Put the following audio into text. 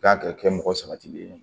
Kan ka kɛ mɔgɔ sabatilen ye